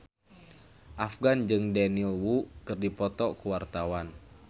Afgan jeung Daniel Wu keur dipoto ku wartawan